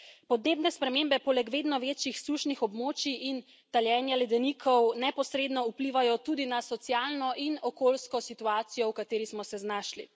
Podnebne spremembe poleg vedno večjih sušnih območij in taljenja ledenikov neposredno vplivajo tudi na socialno in okoljsko situacijo, v kateri smo se znašli.